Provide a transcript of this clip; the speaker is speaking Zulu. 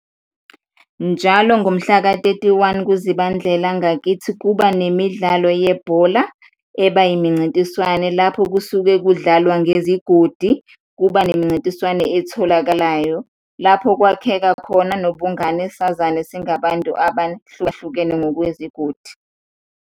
Njalo ngomhlaka-thirty-one kuZibandlela ngakithi kuba nemidlalo yebhola, eba yimincintiswane lapho kusuke kudlalwa ngezigodi. Kuba nemincintiswane etholakalayo lapho kwakheka khona nobungane, sazane singabantu abahlukahlukene ngokwezigodi.